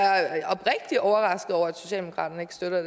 jeg er oprigtigt overrasket over at socialdemokraterne ikke støtter